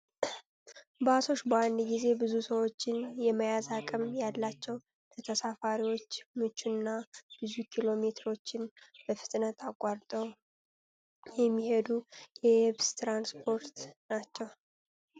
ባሶች በአንድ ጊዜ ብዙ ሰዎችን የመያዝ አቅም ያላቸው ፣ለተሳፋሪዎች ምቹ እና ብዙ ኪሎ ሜትሮችን በፍጥነት አቋርጠው የሜሄዱ የየብስ ትራንስፖርት ናቸው።